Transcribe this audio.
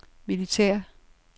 militære